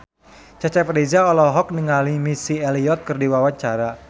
Cecep Reza olohok ningali Missy Elliott keur diwawancara